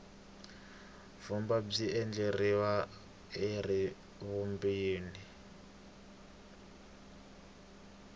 vumba byi endleriwa eribuweni